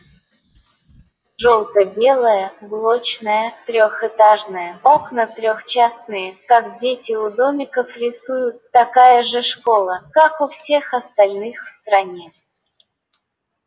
желто-белая блочная трёхэтажная окна трехчастные как дети у домиков рисуют такая же школа как у всех остальных в стране